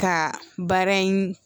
Ka baara in